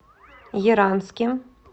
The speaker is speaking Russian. яранске